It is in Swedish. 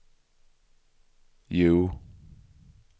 Hjo